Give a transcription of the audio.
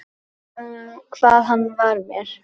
Hvað hann var mér.